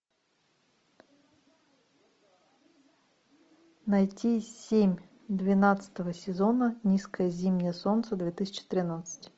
найти семь двенадцатого сезона низкое зимнее солнце две тысячи тринадцать